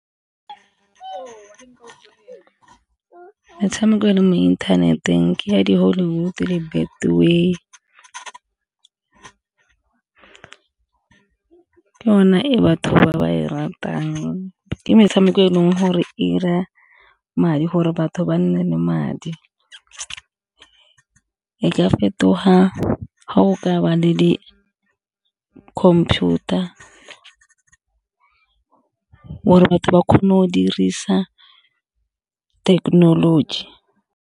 Metshameko e leng mo inthaneteng ke ya di-Hollywood le Betway, ke yona e batho ba ba e ratang ke metshameko e leng gore e 'ira madi gore batho ba nne le madi. E ka fetoga ga o ka ba le di-computer gore batho ba kgone go dirisa thekenoloji.